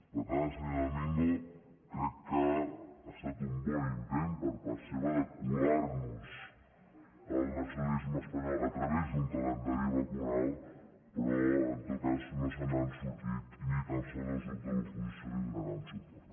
per tant senyor domingo crec que ha estat un bon intent per part seva de colar nos el nacionalisme espanyol a través d’un calendari vacunal però en tot cas no se n’han sortit i ni tan sols els grups de l’oposició hi donaran suport